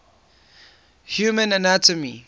human anatomy